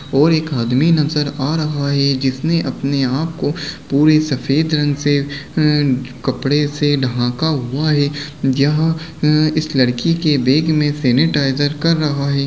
और एक आदमी नज़र आ रहा हैजिसने अपने आप को पूरे सफेद रंग से अ कपड़े से ढाँका हुआ है यह इस लड़की के बेग में सेनेटाइजर कर रहा है।